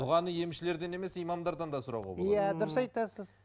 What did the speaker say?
дұғаны емшілерден емес имамдардан да сұрауға болады иә дұрыс айтасыз